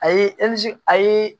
A ye a ye